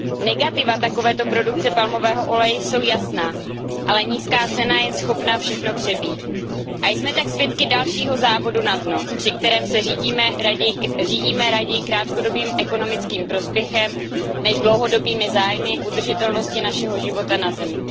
Negativa takovéto produkce palmového oleje jsou jasná, ale nízká cena je schopna všechno přebít. Jsme tak svědky dalšího závodu na dno, při kterém se řídíme raději krátkodobým ekonomickým prospěchem než dlouhodobými zájmy udržitelnosti našeho života na Zemi.